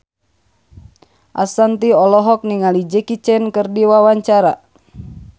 Ashanti olohok ningali Jackie Chan keur diwawancara